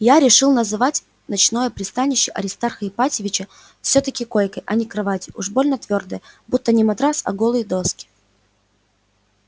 я решил называть ночное пристанище аристарха ипатьевича всё-таки койкой а не кроватью уж больно твёрдая будто не матрас а голые доски